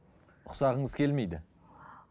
ұқсағыңыз келмейді